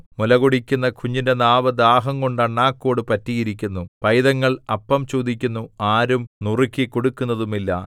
മുലകുടിക്കുന്ന കുഞ്ഞിന്റെ നാവ് ദാഹംകൊണ്ട് അണ്ണാക്കോട് പറ്റിയിരിക്കുന്നു പൈതങ്ങൾ അപ്പം ചോദിക്കുന്നു ആരും നുറുക്കിക്കൊടുക്കുന്നതുമില്ല